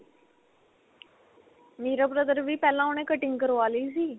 ਮੇਰਾ brother ਵੀ ਪਹਿਲਾਂ ਉਹਨੇ ਕਟਿੰਗ ਕਰਵਾ ਲਈ ਸੀ.